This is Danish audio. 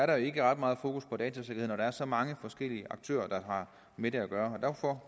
der ikke er ret meget fokus på datasikkerheden er så mange forskellige aktører der har med det at gøre derfor